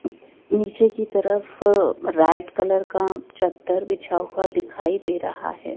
नीचे की तरफ रैड कलर का चद्दर बिछा हुआ दिखाई दे रहा है।